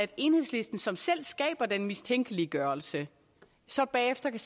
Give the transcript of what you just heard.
i enhedslisten som selv skaber den mistænkeliggørelse så bagefter kan